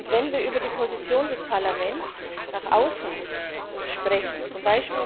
Wenn wir über die Position des Parlaments nach außen sprechen, z.